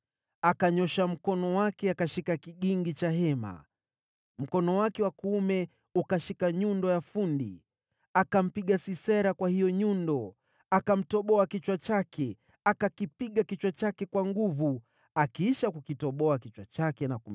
Akanyoosha mkono wake akashika kigingi cha hema, mkono wake wa kuume ukashika nyundo ya fundi. Akampiga Sisera kwa nyundo, akamponda kichwa chake, akamvunjavunja na kumtoboa paji lake la uso.